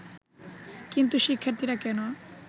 কিন্তু শিক্ষার্থীরা কেন